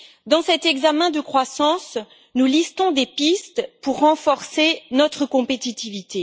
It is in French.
Dans cet examen de la croissance, nous listons des pistes pour renforcer notre compétitivité.